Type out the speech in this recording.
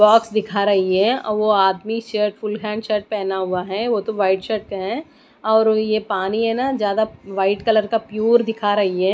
Box दिखा रही है अ वो आदमी शर्ट फुल हैंड शर्ट पहना हुआ है वो तो व्हाइट शर्ट पर है और यह पानी है ना ज्यादा व्हाइट कलर का प्युअर दिखा रही है।